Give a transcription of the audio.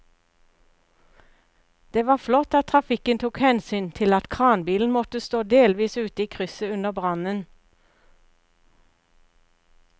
Det var flott at trafikken tok hensyn til at kranbilen måtte stå delvis ute i krysset under brannen.